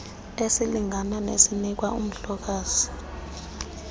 esilingana nesinikwa umhlokazi